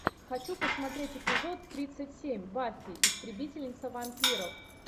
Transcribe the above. хочу посмотреть эпизод тридцать семь баффи истребительница вампиров